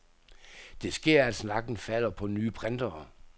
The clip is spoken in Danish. Det sker, at snakken falder på nye printere.